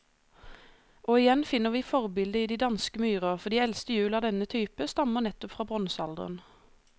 Og igjen finner vi forbildet i de danske myrer, for de eldste hjul av denne type stammer nettopp fra bronsealderen.